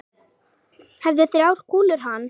Hæfðu þrjár kúlur hann.